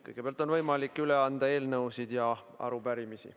Kõigepealt on võimalik üle anda eelnõusid ja arupärimisi.